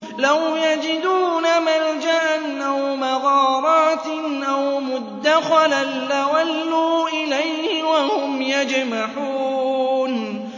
لَوْ يَجِدُونَ مَلْجَأً أَوْ مَغَارَاتٍ أَوْ مُدَّخَلًا لَّوَلَّوْا إِلَيْهِ وَهُمْ يَجْمَحُونَ